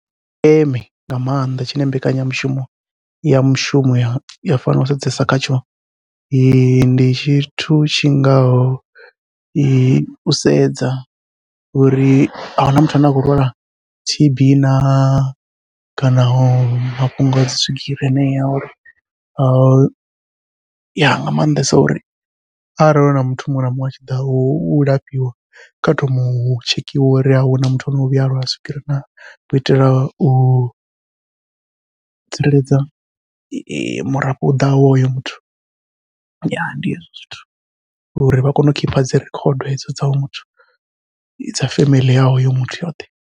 Tsha ndeme nga maanḓa tshine mbekanyamushumo ya mushumo ya fanela u sedzesa khatsho, ndi tshithu tshingaho u sedza uri ahuna muthu ane a khou lwala T_B na, kana mafhungo a dzi swigiri heneyo uri nga maanḓesa uri arali huna muthu muṅwe na muṅwe atshi ḓa u lafhiwa kha thome u tshekhiwa uri hahawe huna muthu ane o vhuya a lwa swigiri na, u itela u u tsireledza murafho u ḓaho hoyo muthu. Ndi hezwo zwithu uri vha kone u khipha dzirikhodo hedzo dza hoyo muthu dza family ya hoyo muthu yoṱhe.